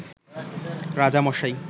রাজা মশাই